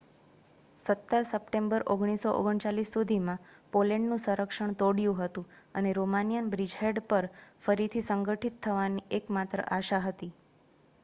17 September 1939 સુધીમાં પોલેન્ડનું સંરક્ષણ તોડ્યું હતું અને રોમાનિયન બ્રિજહેડ પર ફરીથી સંગઠિત થવાની એક માત્ર આશા હતી